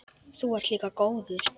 Þú ert líka góður.